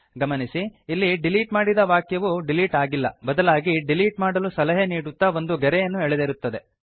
ಗಮನಿಸಿ ಇಲ್ಲಿ ಡಿಲೀಟ್ ಮಾಡಿದ ವಾಕ್ಯವು ಡಿಲೀಟ್ ಆಗಿಲ್ಲ ಬದಲಾಗಿ ಡಿಲೀಟ್ ಮಾಡಲು ಸಲಹೆ ನೀಡುತ್ತಾ ಒಂದು ಗೆರೆಯನ್ನು ಎಳೆದಿರುತ್ತದೆ